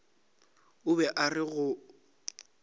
o be a re go